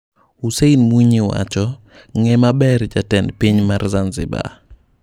Hussein Mwinyi:Ng'ee maber jatend piny mar Zanzibar.